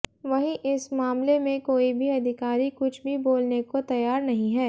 वहीं इस मामले में कोई भी अधिकारी कुछ भी बोलने को तैयार नहीं है